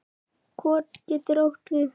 Kot getur átt við